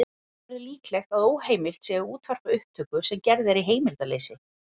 Telja verður líklegt að óheimilt sé að útvarpa upptöku sem er gerð í heimildarleysi.